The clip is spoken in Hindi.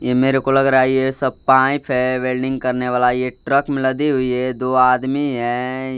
ये मेरेको लग रहा है ये सब पाइप है वेल्डिंग करने वला ये ट्रक में लदी हुई है दो आदमी है।